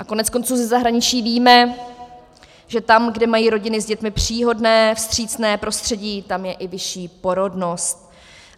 A koneckonců ze zahraničí víme, že tam, kde mají rodiny s dětmi příhodné, vstřícné prostředí, tam je i vyšší porodnost.